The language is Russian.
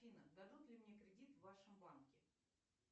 афина дадут ли мне кредит в вашем банке